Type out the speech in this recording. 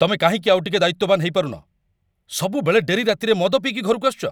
ତମେ କାହିଁକି ଆଉଟିକେ ଦାୟିତ୍ୱବାନ ହେଇପାରୁନ? ସବୁବେଳେ ଡେରି ରାତିରେ ମଦ ପିଇକି ଘରକୁ ଆସୁଚ ।